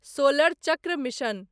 solar चक्र mission